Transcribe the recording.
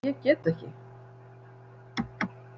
En ég get ekki.